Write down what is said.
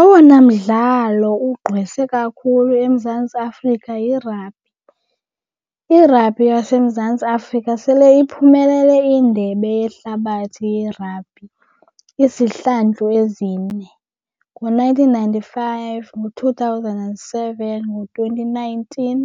Owona mdlalo ugqwese kakhulu eMzantsi Afrika yirabhi. Irabhi yaseMzantsi Afrika sele iphumelele iindebe yehlabathi yerabhi izihlandlo ezine. ngo-nineteen ninety-five, ngo-two thousand and seven, ngo-twenty nineteen